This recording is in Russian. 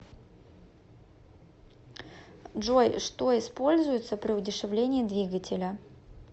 джой что используется при удешевлении двигателя